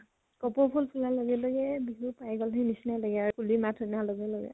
কপৌ ফুল ফুলা লগে লগে, বিহু পাই গল হি নিচিনাই লাগে আৰু কুলি মাত শুনা লগে লগে